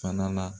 Fana na